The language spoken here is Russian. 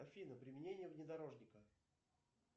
афина применение внедорожника